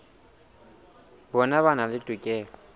bona ba na le tokelo